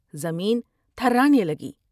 زمین تھرانے لگی ۔